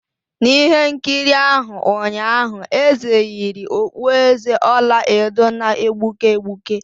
N'ihe nkiri ahụ ụnyaahụ, eze yiri okpueze ọla edo na-egbuke egbuke